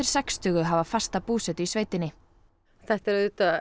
sextugu hafa fasta búsetu í sveitinni þetta er